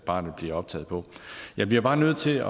barnet optaget på jeg bliver bare nødt til